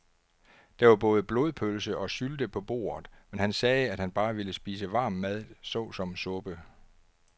Der var både blodpølse og sylte på bordet, men han sagde, at han bare ville spise varm mad såsom suppe.